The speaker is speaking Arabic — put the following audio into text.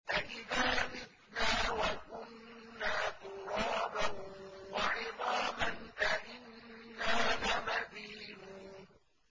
أَإِذَا مِتْنَا وَكُنَّا تُرَابًا وَعِظَامًا أَإِنَّا لَمَدِينُونَ